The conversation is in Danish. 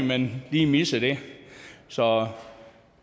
men lige missede så